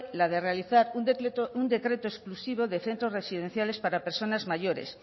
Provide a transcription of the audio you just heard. la de realizar un decreto exclusivo de centros residenciales para personas mayores